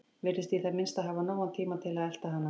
Virðist í það minnsta hafa nógan tíma til að elta hana.